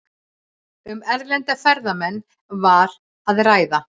Um erlenda ferðamenn var að ræða